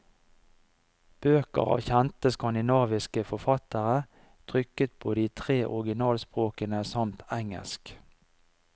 Bøker av kjente, skandinaviske forfattere, trykket på de tre originalspråkene, samt engelsk.